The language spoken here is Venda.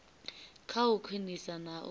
kha u khwinisa na u